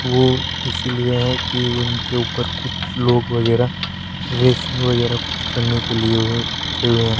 वो इसीलिए है कि उनके ऊपर कुछ लोग वगैरह रेसिंग वगैरह कुछ करने के लिए उन्हें रखे हुए हैं।